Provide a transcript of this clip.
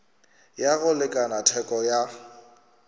ya go lekana theko ya